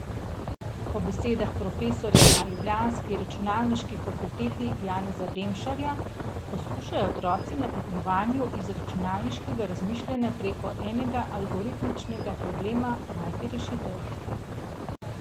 Po besedah profesorja na ljubljanski računalniški fakulteti Janeza Demšarja poskušajo otroci na tekmovanju iz računalniškega razmišljanja preko enega algoritmičnega problema najti rešitev.